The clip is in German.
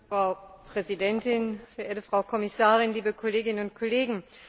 Frau Präsidentin, verehrte Frau Kommissarin, liebe Kolleginnen und Kollegen!